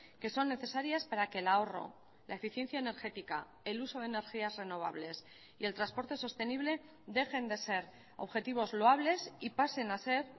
que son necesarias para que el ahorro la eficiencia energética el uso de energías renovables y el transporte sostenible dejen de ser objetivos loables y pasen a ser